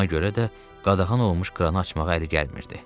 Ona görə də qadağan olunmuş kranı açmağa əli gəlmirdi.